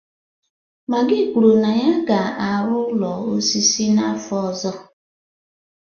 Magi kwuru na ya ga-arụ ụlọ osisi n'afọ ọzọ